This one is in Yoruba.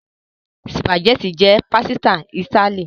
Spaghetti jẹ pasita Itali.